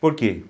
Por quê?